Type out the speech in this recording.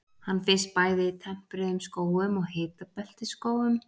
Hann finnst bæði í tempruðum skógum og hitabeltisskógum.